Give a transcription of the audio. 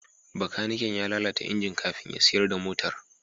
Bakaniken ya lalata injin kafin ya siyar da motar.